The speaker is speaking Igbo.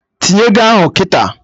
Tinye ego ahụ kịta!